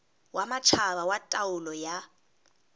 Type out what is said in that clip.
wa matjhaba wa taolo ya